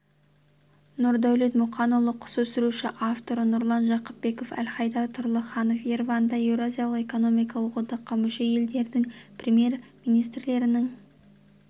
нұрдәулет мұқанұлы құс өсіруші авторы нұрлан жақыпбеков әлхайдар тұрлыханов ереванда еуразиялық экономикалық одаққа мүше елдердің премьер-министрлерінің